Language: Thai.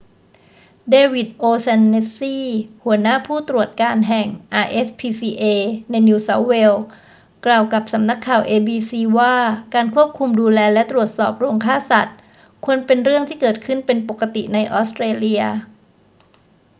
เดวิด โอ'แชนเนสซี หัวหน้าผู้ตรวจการแห่ง rspca ในนิวเซาท์เวล กล่าวกับสำนักข่าว abc ว่าการควบคุมดูแลและตรวจสอบโรงฆ่าสัตว์ควรเป็นเรื่องที่เกิดขึ้นเป็นปกติในออสเตรเลีย